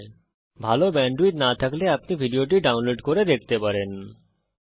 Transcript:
যদি আপনার কাছে ভালো ব্যান্ডউইডথ না থাকে তাহলে আপনি এটা ডাউনলোড করেও দেখতে পারেন